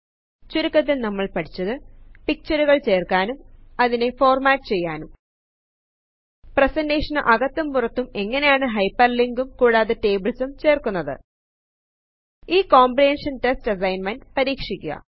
ചുരുക്കത്തിൽ നമ്മൾ പഠിച്ചത് പിക്ചരുകൽ ചേര്ക്കാനും അതിനെ ഫോർമാറ്റ് ചെയ്യാനും പ്രേസേന്റെഷന് അകത്തും പുറത്തും എങ്ങനെയാണു ഹൈപെർലിങ്കും കൂടാതെ ടേബിൾസും ചേർക്കുന്നത് ഈ കോമ്പ്രഹൻഷൻ ടെസ്റ്റ് അസൈൻമെൻറ് പരീക്ഷിക്കുക